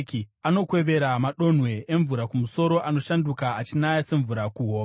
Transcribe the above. “Anokwevera madonhwe emvura kumusoro, anoshanduka achinaya semvura kuhova;